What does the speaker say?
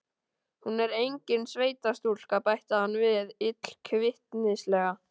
Hún er engin sveitastúlka, bætti hann við illkvittnislega.